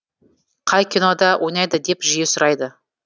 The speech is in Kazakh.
қай кинода ойнайды деп жиі сұрайды